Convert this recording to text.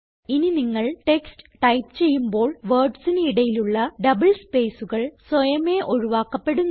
ഇനി നിങ്ങൾ text type ചെയ്യുമ്പോൾ wordsന് ഇടയിലുള്ള ഡബിൾ സ്പേസ്കൾ സ്വയമേ ഒഴിവാക്കപ്പെടുന്നു